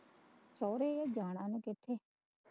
ਸਹੁਰੇ ਜਾਣਾ